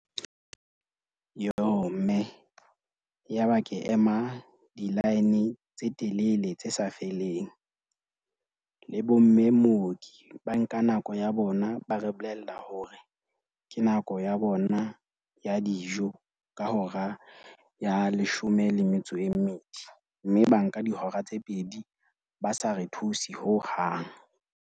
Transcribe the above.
Yoh, mme. Yaba ke ema di-line tse telele tse sa feleng le bomme mooki ba nka nako ya bona, ba re bolella la hore ke nako ya bona ya dijo ka hora ya leshome le metso e mmedi. Mme ba nka dihora tse pedi ba sa re thuse hohang.